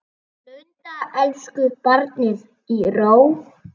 Blunda elsku barnið í ró.